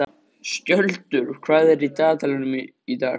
Skjöldur, hvað er í dagatalinu í dag?